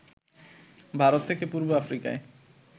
ভারত থেকে পূর্ব আফ্রিকায়